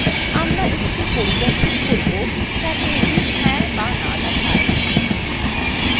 আমরা এটিকে পরিবর্তন করব যাতে এটি হ্যাঁ অথবা no দেখায়